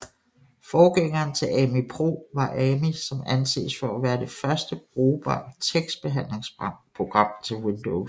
Forgængeren til Ami Pro var Amí som anses for at være det første brugbare tekstbehandlingsprogram til Windows